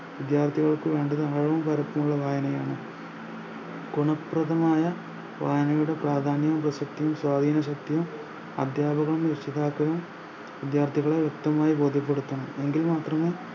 വിദ്യാർത്ഥികൾക്ക് വേണ്ടത് അളവും കറുപ്പുമില്ല വായനയാണ് കുണപ്രദമായ വായനയുടെ പ്രാധാന്യവും പ്രസക്തിയും സ്വതീന ശക്തിയും അധ്യാപകനും രക്ഷിതാക്കളും വിദ്യാർത്ഥികളെ വ്യെക്തമായി ബോധ്യപ്പെടുത്തണം എങ്കിൽ മാത്രമേ